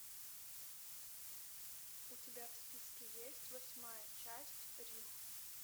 у тебя в списке есть восьмая часть рим